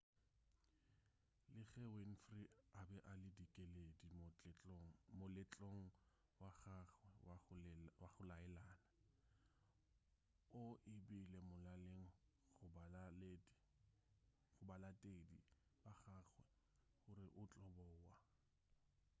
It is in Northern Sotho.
le ge winfrey a be a le dikeledi moletlong wa gagwe wa go laelana o e beile molaleng go balatedi ba gagwe gore o tlo boa